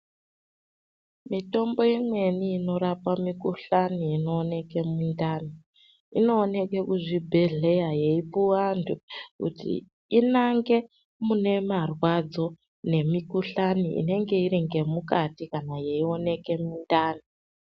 Mitombo imweni inorape mikhuhlane inoonekwe mundani inooneke kuzvibhehleheya yeipuwa anhu kuti inange munemarwadzo nemikhuhlani inenge iri ngemukati kana yeioneke mundani.